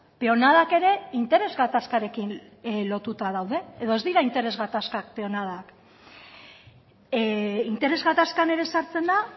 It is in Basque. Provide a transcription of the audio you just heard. peonadak ere interes gatazkarekin lotuta daude edo ez dira interes gatazkak peonadak interes gatazkan ere sartzen da